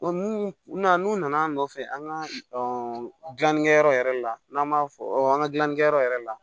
O n'u na n'u nan'a nɔfɛ an ka gilanni kɛyɔrɔ yɛrɛ la n'an b'a fɔ an ka gilannikɛyɔrɔ yɛrɛ la